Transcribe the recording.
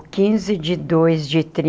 Quinze de dois de